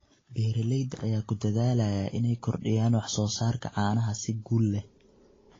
Beeralayda ayaa ku dadaalaya inay kordhiyaan wax soo saarka caanaha si guul leh.